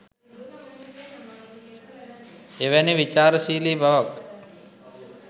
එවැනි විචාරශීලී බවක්